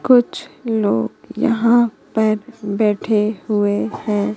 कुछ लोग यहां पर बैठे हुए हैं।